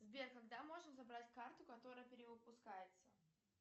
сбер когда можно забрать карту которая перевыпускается